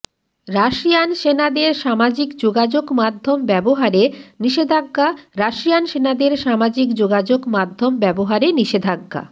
Russian সেনাদের সামাজিক যোগাযোগ মাধ্যম ব্যবহারে নিষেধাজ্ঞা রাশিয়ান সেনাদের সামাজিক যোগাযোগ মাধ্যম ব্যবহারে নিষেধাজ্ঞা